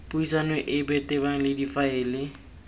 puisano epe tebang le difaele